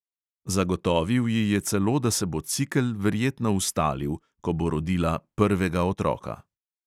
Zagotovil ji je celo, da se bo cikel verjetno ustalil, ko bo rodila prvega otroka.